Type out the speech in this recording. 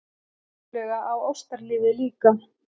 Og vissulega á ástarlífið líka!